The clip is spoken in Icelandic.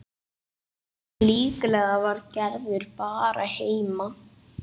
Líklega var Gerður bara heima.